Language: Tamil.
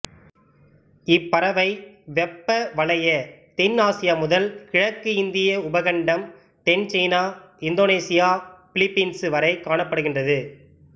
இப்பறவை வெப்பவலய தென் ஆசியா முதல் கிழக்கு இந்திய உபகண்டம் தென் சீனா இந்தோனேசியா பிலிப்பீன்சு வரை காணப்படுகின்றது